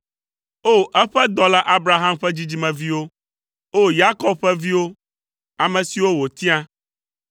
O! Eƒe dɔla Abraham ƒe dzidzimeviwo. O! Yakob ƒe viwo, ame siwo wòtia.